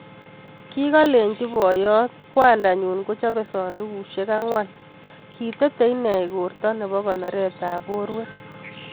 Kikakolenjii poyot kwandaa nyuun kochope sandukusiek angwan kitete inee igortaa neboo konorett ap porwek